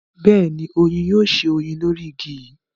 beeni, oyin yoo se oyin lori igi yi